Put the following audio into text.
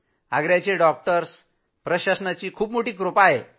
आग्र्याचे doctors प्रशासनाची कृपा आहे